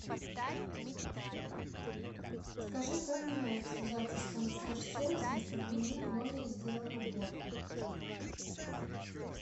скажи как мне связаться с консьерж сервисом чтобы мне в номере сделали уборку